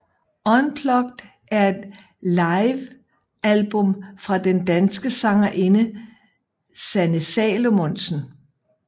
Unplugged er et livealbum fra den danske sangerinde Sanne Salomonsen